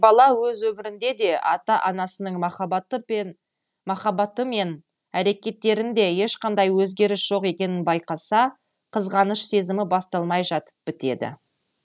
бала өз өмірінде де ата анасының махаббаты мен әрекеттерінде ешқандай өзгеріс жоқ екенін байқаса қызғаныш сезімі басталмай жатып бітеді